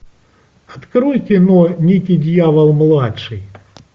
открой кино никки дьявол младший